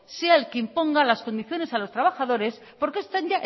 sea el que imponga las condiciones a los trabajadores porque están